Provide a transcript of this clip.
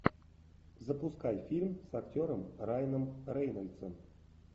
запускай фильм с актером райаном рейнольдсом